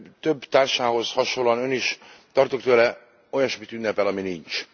Több társához hasonlóan Ön is tartok tőle olyasmit ünnepel, ami nincs.